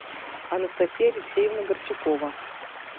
анастасия алексеевна горчакова